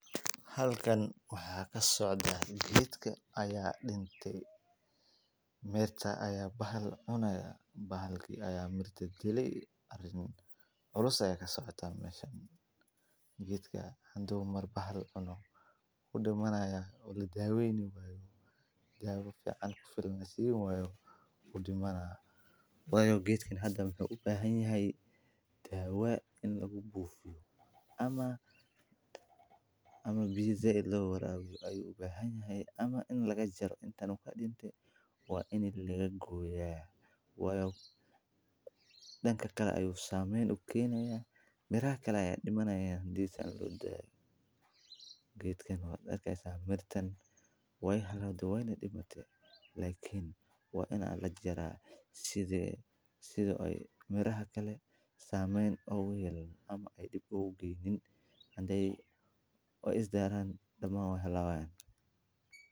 Halkan waxaa kasocda geedkan aya dinte meshan aya bahal cunaya bahalka aya dirta dilay arin culus aya kasocota meshan geedka hadu mar bahal cuno kudowaad maraya oo ladaweynayo dawa fican kufilan lasin wayo wu dimana wayo geedkan hada wuxuu u bahan yahay dawa in lagu bufiyo ama biya said lo warabiyo wuxuu u bahan yahay ama ini laga jaro waa ini laga goya wayo danka kale ayu samen u kenaya miraha kale aya dimanaya geedkan waa arki hasa mirtan we xumate wexumate wena dimate lakin waa lajara sitha ee miraha kale samen ogu yelanin kadib ugoyin hadee isdaran wey halawayan.